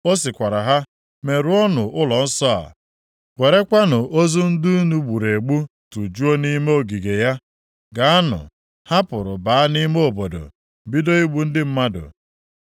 Ọ sịkwara ha, “Merụọnụ ụlọnsọ a! Werekwanụ ozu ndị unu gburu egbu tụjuo nʼime ogige ya! Gaanụ!” Ha pụrụ baa nʼime obodo, bido igbu ndị mmadụ.